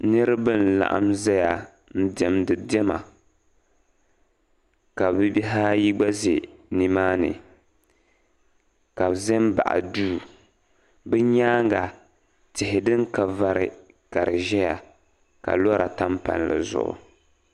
Niriba n-laɣim zaya n-diɛmdi diɛma ka bibihi ayi ɡba ʒe nimaani ka bɛ ʒi m-baɣi duu bɛ nyaaŋa tihi din ka vari ka di ʒɛya ka lɔra tam palli zuɣu